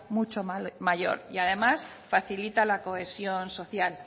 mucho mayor y además facilita la cohesión social